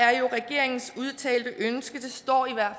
er jo regeringens udtalte ønske det står i hvert